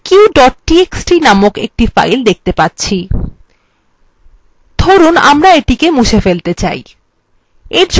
আমরা একটি file যার name faq txt present দেখতে পাব লিখুন আমরা এটি কে মুছে ফেলতে say